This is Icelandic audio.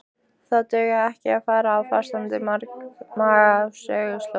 Það dugar ekki að fara á fastandi maga á söguslóðir.